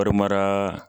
Wari mara